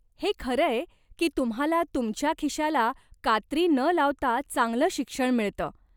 हे खरंय की तुम्हाला तुमच्या खिशाला कात्री न लावता चांगलं शिक्षण मिळतं.